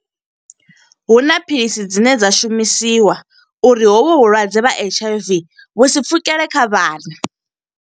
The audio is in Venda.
Huna philisi dzine dza shumisiwa, uri hovhu vhulwadze ha H_I_V vhu sa pfukele kha vhana.